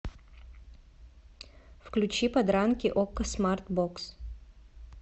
включи подранки окко смартбокс